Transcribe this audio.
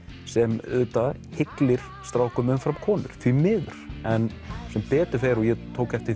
sem auðvitað hyglir strákum umfram konum því miður en sem betur fer og ég tók eftir